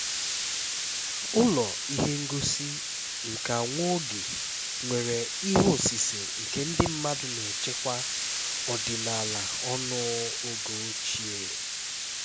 ụlọ ihe ngosi nka nwa oge nwere ihe osise nke ndị mmadụ na-echekwa ọdịnala ọnụ oge ochie